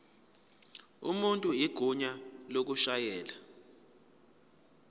umuntu igunya lokushayela